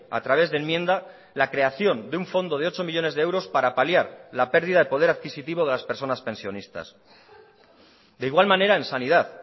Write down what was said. a través de enmienda la creación de un fondo de ocho millónes de euros para paliar la pérdida de poder adquisitivo de las personas pensionistas de igual manera en sanidad